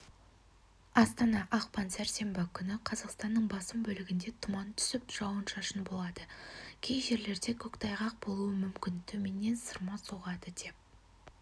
астана ақпан сәрсенбі күні қазақстанның басым бөлігінде тұман түсіп жауын-шашын болады кей жерлерде көктайғақ болуы мүмкін төменнен сырма соғады деп